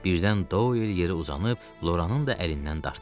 Birdən Doyl yeri uzanıb Loranın da əlindən dartdı.